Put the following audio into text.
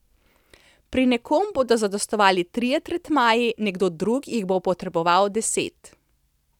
Pri nekom bodo zadostovali trije tretmaji, nekdo drug jih bo potreboval deset.